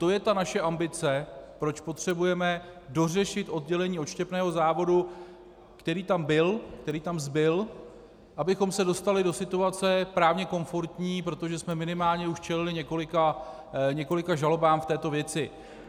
To je ta naše ambice, proč potřebujeme dořešit oddělení odštěpného závodu, který tam byl, který tam zbyl, abychom se dostali do situace právně komfortní, protože jsme minimálně už čelili několika žalobám v této věci.